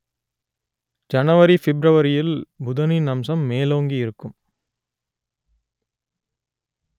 ஜனவரி பிப்ரவரியில் புதனின் அம்சம் மேலோங்கி இருக்கும்